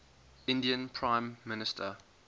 indian prime minister